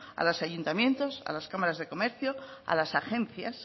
a los ayuntamientos a las cámaras de comercio a las agencias